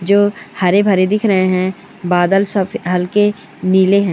जो हरे भरे दिख रहे है बादल सब हल्के नीले हे।